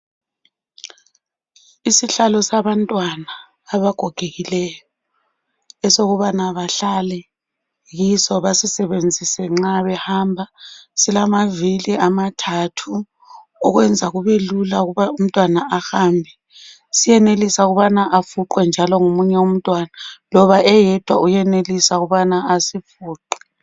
Isihlalo sabantwana abagogekileyo esokubana bahlale kiso basisebenzise nxa behamba silamavili amathathu okwenza kube lula ukuba umntwana ahambe siyenelisa ukubana afuqwe njalo ngomunye umntwana loba eyedwa uyenelisa ukubana asifuqe.